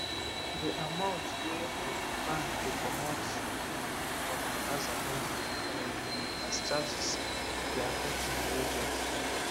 de amount wey um bank dey comot um for my aza monthly um as charges dey affect my budget